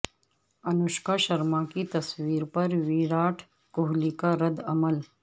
انوشکا شرما کی تصویر پر ویراٹ کوہلی کا رد عمل